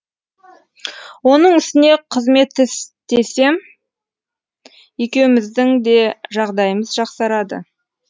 оның үстіне қызмет істесем екеуміздіңде жағдайымыз жақсарады